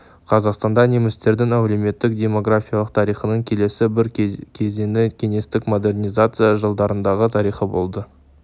қазақстанда немістердің әлеуметтік-демографиялық тарихының келесі бір кезеңі кеңестік модернизация жылдарындағы тарих болды